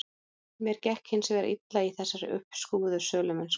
Mér gekk hins vegar illa í þessari uppskrúfuðu sölumennsku.